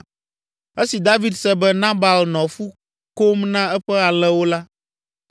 Esi David se be Nabal nɔ fu kom na eƒe alẽwo la,